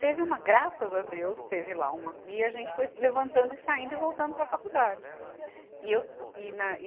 Teve uma, graças a Deus, teve lá uma, e a gente foi levantando e saindo e voltando para a faculdade. E eu, e na e